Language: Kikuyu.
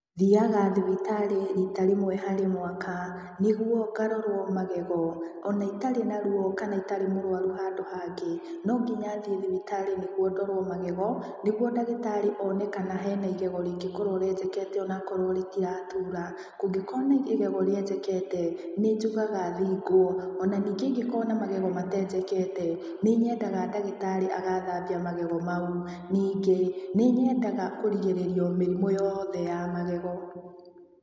Thiaga thibitarĩ riita rĩmwe harĩ mwaka, nĩguo ngarorũo magego,o na itarĩ na ruo kana itarĩ mũrwaru handũ hangĩ. No nginya thiĩ thibitarĩ nĩguo ndorũo magego, nĩguo one kana he na igego rĩngĩkorũo rĩenjekete o na akorũo ritiratuura. Kũngĩkorũo na igego rĩenjekete, nĩ njugaga thingwo,o na ningĩ ingĩkorũo na magego mateenjekete, nĩ nyendaga ndagĩtarĩ agaathambia magego mau. Ningĩ, nĩ nyendaga kũrigĩrĩria o mĩrimũ yothe ya magego.